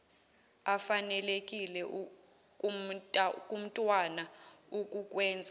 efanelekile kumntwana ukukwenza